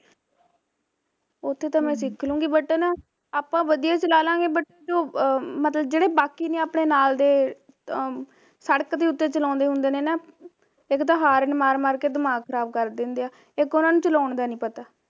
ਉੱਥੇ ਤਾਂ ਮੈਂ ਸਿੱਖ ਲਊਗੀ but ਨਾ ਆਪਾਂ ਵਧੀਆ ਚਲਾਲਾਂਗੇ but ਜੋ ਮਤਲਬ ਜਿਹੜੇ ਬਾਕੀ ਨੇ ਆਪਣੇ ਨਾਲ ਦੇ ਜਿਹੜੇ ਸੜਕ ਤੇ ਉੱਤੇ ਚਲਾਉਂਦੇ ਹੁੰਦੇ ਨੇ ਇਕ ਤਾਂ ਹਾਰਨ ਮਾਰ ਮਾਰ ਕੇ ਦਮਾਗ ਖਰਾਬ ਕਰ ਦਿੰਦੇ ਨੇ ਇੱਕ ਉਹਨਾਂ ਨੂੰ ਚਲਾਉਣ ਦਾ ਨਹੀ ਪਤਾ